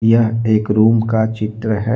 यह एक रूम का चित्र है।